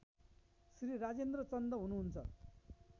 श्री राजेन्द्र चन्द हुनुहुन्छ